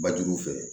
Ba juguw fɛ